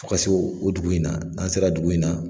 Fo ka se o dugu in na, n'an sera dugu in na